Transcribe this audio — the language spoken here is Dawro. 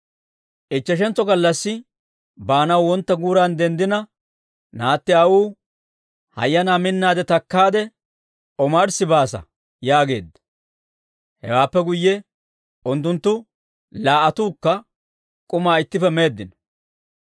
Ichcheshantso gallassi baanaw wontta guuran denddina, naatti aawuu, «Hayyanaa, minna takkaade, omarssi baasa» yaageedda. Hewaappe guyye unttunttu laa"attuukka k'umaa ittippe meeddino.